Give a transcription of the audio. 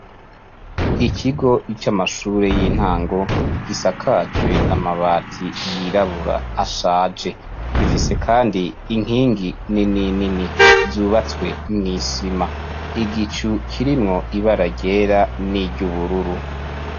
Ikigo c'amashure y'intango, gisakajwe amabati y'irabura ashaje, gifise kandi inkingi nini nini zubatswe mw'isima, igicu kirimwo ibara ryera niry'ubururu.